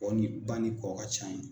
Kɔ ni ba ni kɔ ka ca ye.